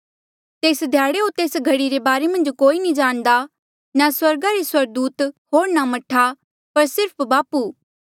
तेस ध्याड़े होर तेस घड़ी रे बारे मन्झ कोई नी जाणदा ना स्वर्गा रे स्वर्गदूत होर ना मह्ठा पर सिर्फ बापू